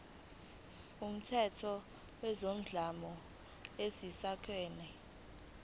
kumthetho wezodlame lwasekhaya